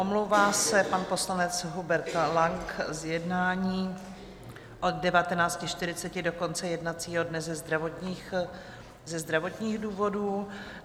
Omlouvá se pan poslanec Hubert Lang z jednání od 19.40 do konce jednacího dne ze zdravotních důvodů.